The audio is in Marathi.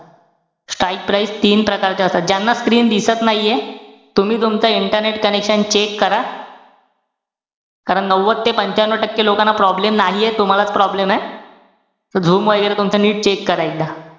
Strike price तीन प्रकारच्या असतात. ज्यांना screen दिसत नाहीये, तुम्ही तुमचं internet connection check करा. कारण नव्वद ते पंच्यान्नव टक्के लोकांना problem नाहीये. तूम्हांलाच problem ए. zoom वैगेरे तुमचं नीट check करा एकदा.